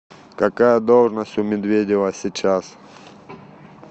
какая должность у медведева сейчас